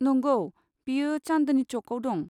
नंगौ, बेयो चान्दनि चौकआव दं।